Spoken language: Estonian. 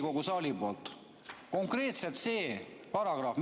Öelge konkreetselt see paragrahv.